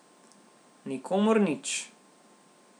Nikomur nič.